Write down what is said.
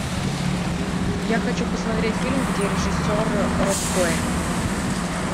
я хочу посмотреть фильм где режиссер роб коэн